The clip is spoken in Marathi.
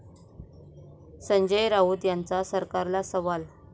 संजय राऊत यांचा सरकारला सवाल